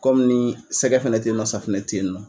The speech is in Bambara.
Kɔmi ni sɛgɛ fana tɛ yen nɔ safunɛ tɛ yen nɔ.